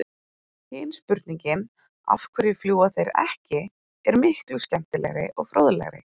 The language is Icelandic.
Hin spurningin, af hverju fljúga þeir ekki, er miklu skemmtilegri og fróðlegri!